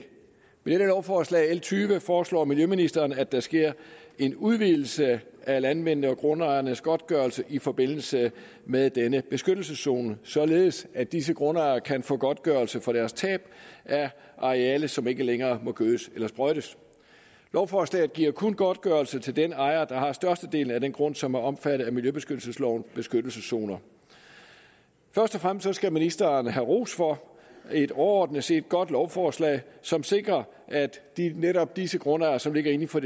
med dette lovforslag l tyve foreslår miljøministeren at der sker en udvidelse af landmændenes og grundejernes godtgørelse i forbindelse med denne beskyttelseszone således at disse grundejere kan få godtgørelse for deres tab af areal som ikke længere må gødes eller sprøjtes lovforslaget giver kun godtgørelse til den ejer der har størstedelen af den grund som er omfattet af miljøbeskyttelseslovens beskyttelseszoner først og fremmest skal ministeren havde ros for et overordnet set godt lovforslag som sikrer at netop disse grundejere som ligger inden for